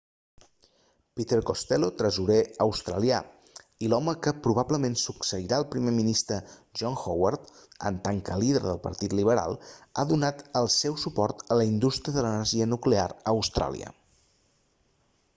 peter costello tresorer australià i l'home que probablement succeirà el primer ministre john howard en tant que líder del partit liberal ha donat el seu suport a la indústria de l'energia nuclear a austràlia